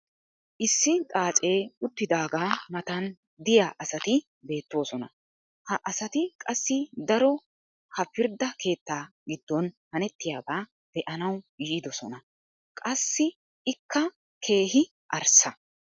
issi xaacee uttidaagaa matan diya asati beetoosona. ha asati qassi daro ha pirdda keettaa giddon hanettiyaba be'anawu yiidosona. qassi ikka keehi arssa.